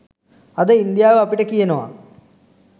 අද ඉන්දියාව අපිට කියනවා